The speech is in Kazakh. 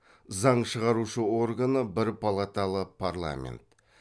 заң шығарушы органы бір палаталы парламент